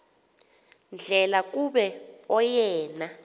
ndlela kuba oyena